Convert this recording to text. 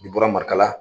N'i bɔra marikala la